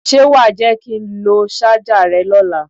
Ṣé wà á jẹ́ kí ń lo ṣájà rẹ lọ́la?